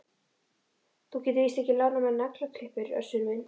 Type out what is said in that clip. Þú getur víst ekki lánað mér naglaklippur Össur minn.